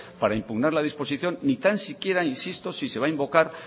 para impugnar la disposición ni tan siquiera insisto si se va a invocar